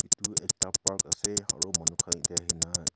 Tu ekta park ase aro manu khan yate ahena.